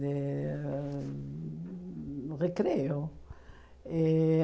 De hum... Recreio. E